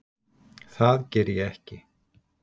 Það geri ég ekki.